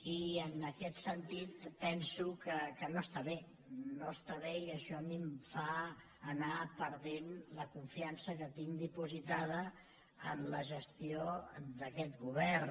i en aquest sentit penso que no està bé no està bé i a mi això em fa anar perdent la confiança que tinc dipositada en la gestió d’aquest govern